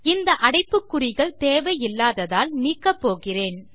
இந்த அடைப்பு குறிகள் தேவை இல்லாததால் நீக்கப் போகிறேன்